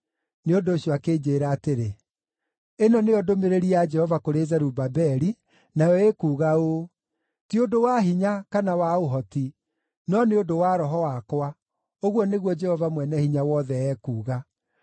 Nĩ ũndũ ũcio akĩnjĩĩra atĩrĩ, “Ĩno nĩyo ndũmĩrĩri ya Jehova kũrĩ Zerubabeli, nayo ĩkuuga ũũ: ‘Ti ũndũ wa hinya kana wa ũhoti, no nĩ ũndũ wa Roho wakwa,’ ũguo nĩguo Jehova Mwene-Hinya-Wothe ekuuga.